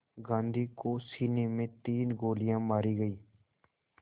गांधी को सीने में तीन गोलियां मारी गईं